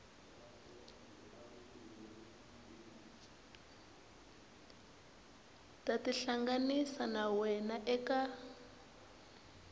ta tihlanganisa na wena eka